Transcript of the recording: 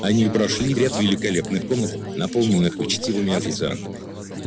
они прошли ряд великолепных комнат наполненных учтивыми официантами